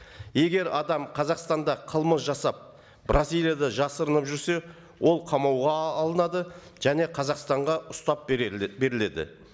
егер адам қазақстанда қылмыс жасап бразилияда жасырынып жүрсе ол қамауға алынады және қазақстанға ұстап беріледі